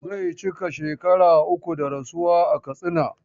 Zai cika shekara uku da rasuwa a Katsina.